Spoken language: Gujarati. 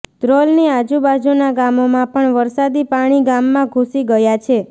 ધ્રોલની આજુબાજુના ગામોમાં પણ વરસાદી પાણી ગામમાં ઘૂસી ગયા છે